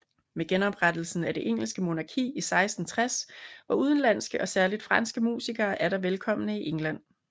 Med genoprettelsen af det engelske monarki i 1660 var udenlandske og særligt franske musikere atter velkomne i England